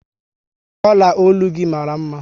Ọla ọlụ gị mara mma